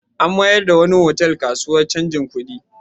An mayar da wani otal kasuwar canjin kuɗi.